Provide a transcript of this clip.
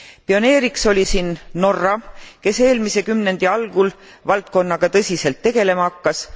Pioneeriks oli siin Norra, kes eelmise kümnendi algul valdkonnaga tõsiselt tegelema hakkas.